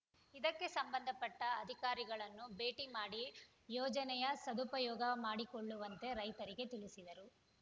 ಇದಕ್ಕೆ ಸಂಬಂಧಪಟ್ಟಅಧಿಕಾರಿಗಳನ್ನು ಭೇಟಿ ಮಾಡಿ ಯೋಜನೆಯ ಸದುಪಯೋಗ ಮಾಡಿಕೊಳ್ಳುವಂತೆ ರೈತರಿಗೆ ತಿಳಿಸಿದರು